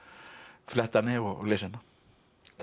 fletta henni og lesa hana takk